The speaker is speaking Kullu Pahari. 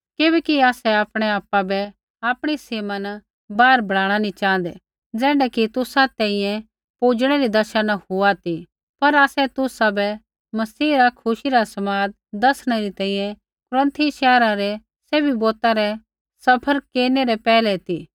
किबैकि आसै आपणै आपु बै आपणी सीमा न बाहर बढ़ाणा नी च़ाँहदै ज़ैण्ढा कि तुसा तैंईंयैं पुजणै री दशा न हुआ ती पर आसै तुसाबै मसीह रा खुशी रा समाद दसणै री तैंईंयैं कुरन्थी शैहरा रै सैभी बौता रै सफ़र केरनै रै पैहलै ती